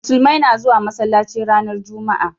Musulmai na zuwa masallaci ranar jumma'a